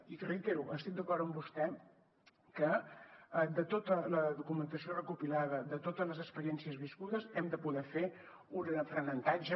i ho reitero estic d’acord amb vostè que de tota la documentació recopilada de totes les experiències viscudes n’hem de poder fer un aprenentatge